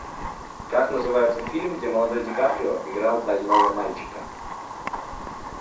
как называется фильм где молодой ди каприо играл больного мальчика